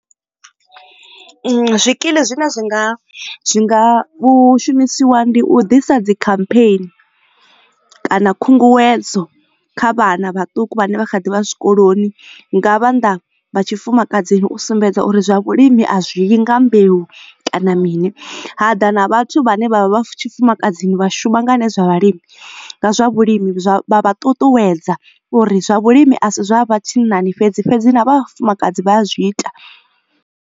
Zwikili zwine zwi nga zwi nga vhu shumisiwa ndi u ḓisa dzi campaign kana khunguwedzo kha vhana vhaṱuku vhane vha kha ḓivha zwikoloni nga vhanda vha tshifumakadzini u sumbedza uri zwa vhulimi a zwii nga mbeu kana mini hada na vhathu vhane vha vha tshifumakadzini vha shuma nga ha nṋe zwa vhalimi nga zwa vhulimi zwa vha ṱuṱuwedza uri zwa vhulimi a si zwa vhathu vha tshinnani fhedzi fhedzi na vhafumakadzi vha a zwi ita.